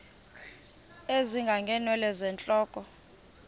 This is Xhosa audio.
ezinga ngeenwele zentloko